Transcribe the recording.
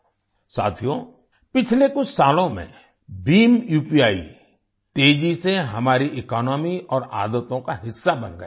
साथियो पिछले कुछ सालों में भीम उपी तेजी से हमारी इकोनॉमी और आदतों का हिस्सा बन गया है